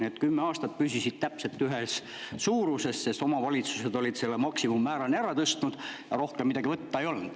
Need püsisid kümme aastat täpselt samas suuruses, sest omavalitsused olid need maksimummäärani ära tõstnud ja rohkem midagi võtta ei olnud.